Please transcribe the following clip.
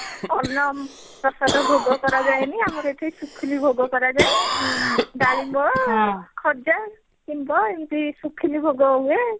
ଆମର ଏଠି ଅନ୍ନପ୍ରାସାଦ ଭୋଗ କରାଯାଏନି ଆମର ଏଠି ଶୁଖିଲି ଭୋଗ କରାଯାଏ ଡାଳିମ୍ବ ଖଜା ଏମତି ଶୁଖିଲି ଭୋଗ ହୁଏ